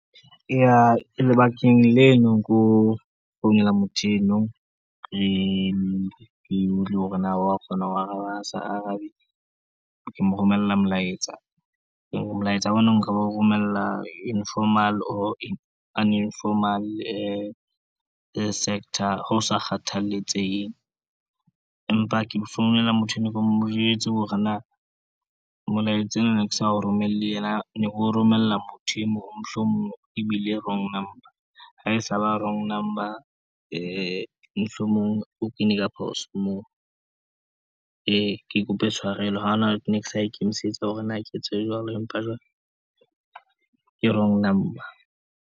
Eya lebakeng leno keo founela motho eno ke hore na wa kgona ho araba, ha sa arabe ke mo romella molaetsa. Molaetsa ono nka o romella informal, or uninformal sector ho sa kgathaletseheng, empa ke founela motho enwa, ke mo jwetse hore na molaetsa ena ne ke sa o romelle yena, ne ke o romella motho e mong founung e bile wrong number. Ha e sa ba wrong number mohlomong o kene ka phoso moo, ke kope tshwarelo ha ona ne ke sa ikemisetsa hore na ke etse jwalo, empa jwale ke wrong number.